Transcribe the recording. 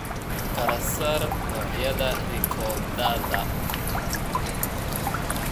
Kala saar noocyada rikoodhada.